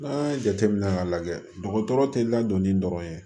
N'an y'a jateminɛ k'a lajɛ dɔgɔtɔrɔ tɛ ladonni dɔrɔn ye